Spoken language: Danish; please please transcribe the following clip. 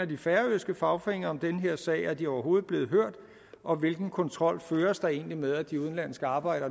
de færøske fagforeninger mener om den her sag er de overhovedet blevet hørt og hvilken kontrol føres der egentlig med at de udenlandske arbejdere